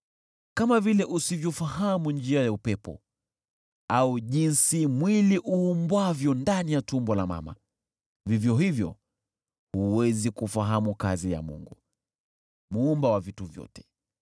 Kama vile usivyofahamu njia ya upepo, au jinsi mwili uumbwavyo ndani ya tumbo la mama, vivyo hivyo huwezi kufahamu kazi ya Mungu, Muumba wa vitu vyote.